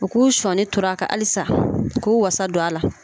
U k'u sɔnni turu a kan halisa u k'u walasa don a la.